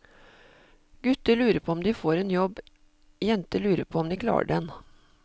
Gutter lurer på om de får en jobb, jenter lurer på om de klarer den.